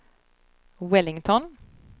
Wellington